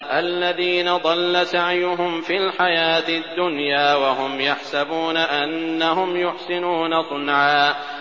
الَّذِينَ ضَلَّ سَعْيُهُمْ فِي الْحَيَاةِ الدُّنْيَا وَهُمْ يَحْسَبُونَ أَنَّهُمْ يُحْسِنُونَ صُنْعًا